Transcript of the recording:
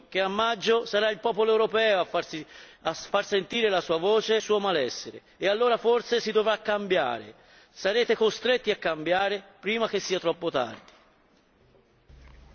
Sono tuttavia convinto che a maggio sarà il popolo europeo a far sentire la sua voce e il suo malessere e allora forse si dovrà cambiare, sarete costretti a cambiare, prima che sia troppo tardi.